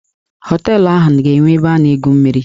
Họteelụ ahụ ga-enwe ebe a na-egwu mmiri.